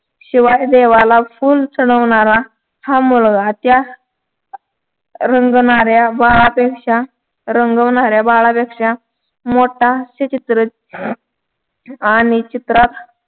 शिवाय देवाला फुल चढवणारा हा मुलगा त्या रंगणाऱ्या बाळापेक्षा रंगवणाऱ्या बाळापेक्षा मोठा हास्यचित्र आणि चित्रांत